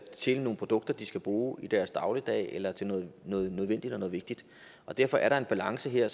til nogle produkter de skal bruge i deres dagligdag eller til noget noget nødvendigt og noget vigtigt derfor er der en balance her